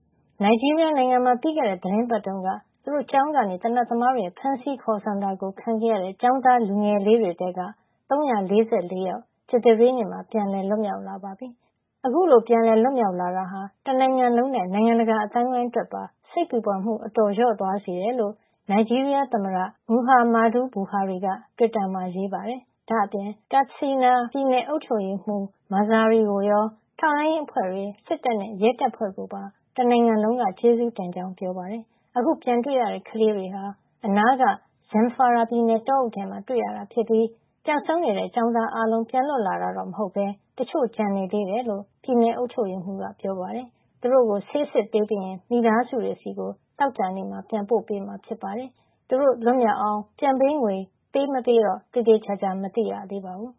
နိုင်ဂျီးရီးယားနိုင်ငံမှာ ပြီးခဲ့တဲ့ သီတင်ပတ်တုန်းက သူတို့ကျောင်းကနေ သေနတ်သမားတွေရဲ့ ဖမ်းဆီးခေါ်ဆောင်တာခံခဲ့ရတဲ့ ကျောင်းသားလူငယ်လေးတွေထဲက ၃၄၄ ယောက် ကြာသပတေးနေ့မှာ ပြန်လည်လွတ်မြောက်လာပါပြီ။ အခုလို ပြန်လည်လွတ်မြောက်လာတာဟာ တနိုင်ငံလုံးနဲ့ နိုင်ငံတကာအသိုင်းဝိုင်းအတွက်ပါ စိတ်ပူပန်မှုတွေ အတော်လျော့သွားစေတယ်လို့ နိုင်ဂျီးရီးယား သမ္မတ Muhammadu Buhari က တွစ်တာမှာ ရေးပါတယ်။ ဒါ့အပြင် Katsina ပြည်နယ် အုပ်ချုပ်ရေးမှုး Masari ကိုရော ထောက်လှန်းရေးအဖွဲ့တွေ၊ စစ်တပ်နဲ့ ရဲတပ်ဖွဲ့ကိုပါ တနိုင်ငံလုံးက ကျေးဇူးတင်ကြောင်းပြောပါတယ်။ အခု ပြန်တွေ့ရတဲ့ ကလေးတွေဟာ အနားက Zamfara ပြည်နယ် တောအုပ်ထဲမှာ တွေ့ခဲ့ရတာဖြစ်ပြီး ပျောက်ဆုံးနေတဲ့ ကျောင်းသားအားလုံး ပြန်လွတ်လာတာမဟုတ်ပဲ တချို့ကျန်နေသေးတယ်လို့ ပြည်နယ် အုပ်ချုပ်ရေးမှုး Masari က နိုင်ငံတော်ရုပ်သံ NTA ကို ပြောပါတယ်။ သူတို့လေးတွေကို ဆေးစစ်ပေးပြီးရင် သူတို့မိသားစုတွေ ဆီ သောကြာနေ့မှာ ပြန်ပို့ပေးမှာ ဖြစ်ကြောင်းလည်း ပြောပါတယ်။ ဒီကျောင်းသားလေးတွေ လွတ်မြောက်အောင် ပြန်ပေးငွေပေးမပေးတော့ သေသေချာချာ မသိရသေးပါဘူး။